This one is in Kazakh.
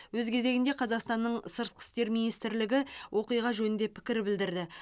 өз кезегінде қазақстанның сыртқы істер министрлігі оқиға жөнінде пікір білдірді